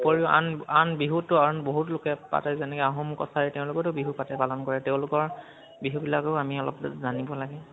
উপৰিও আন বিহুটো আন বাহুত লোকে পাতে যেনেকে আহোম কচাৰি তেওঁলোকেওটো বিহু পাতে পালন কৰে। তেওঁলোকৰ বিহু বিলাকো আমি অলপ জানিব লাগে